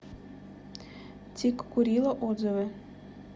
тиккурила отзывы